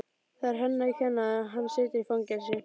Það er henni að kenna að hann situr í fangelsi.